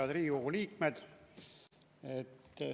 Head Riigikogu liikmed!